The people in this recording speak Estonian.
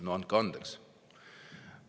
No andke andeks!